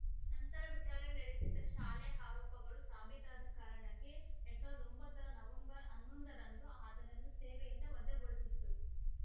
ನಂತರ ವಿಚಾರಣೆ ನಡೆಸಿದ್ದ ಶಾಲೆ ಆರೋಪಗಳು ಸಾಬೀತಾದ ಕಾರಣಕ್ಕೆ ಎರಡ್ ಸಾವರದ ಒಂಬತ್ತರ ನವೆಂಬರ್ ಹನ್ನೊಂದು ರಂದು ಆತನನ್ನು ಸೇವೆಯಿಂದ ವಜಾಗೊಳಿಸಿತ್ತು